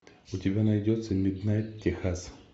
у тебя найдется миднайт техас